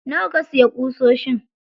Nawa ka siya ƙusoshin?